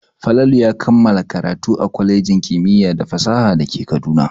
Falalu ya kammala karatu a kwalejin kimiyya da fasaha da ke Kaduna.